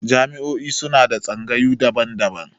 Jami'o'i suna da tsangayu daban-daban.